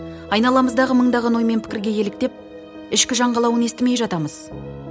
айналамыздағы мыңдаған ой мен пікірге еліктеп ішкі жан қалауын естімей жатамыз